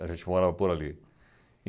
A gente morava por ali.